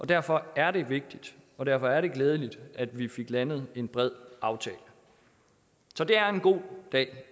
derfor er det vigtigt og derfor er det glædeligt at vi fik landet en bred aftale så det er en god dag